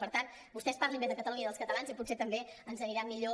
per tant vos·tès parlin bé de catalunya i dels catalans i potser també ens anirà millor